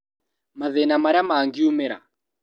Mathĩna marĩa mangiumĩra